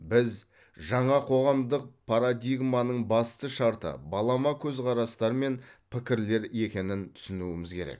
біз жаңа қоғамдық парадигманың басты шарты балама көзқарастар мен пікірлер екенін түсінуіміз керек